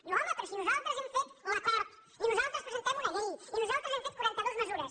diu home però si nosaltres hem fet l’acord i nosaltres presentem una llei i nosaltres hem fet quaranta dues mesures